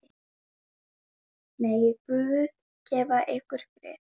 Megi Guð gefa ykkur frið.